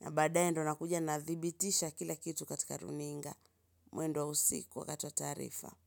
na baadaye ndo nakuja nathibitisha kila kitu katika runinga. Mwendo wa usiku wakati wa taarifa.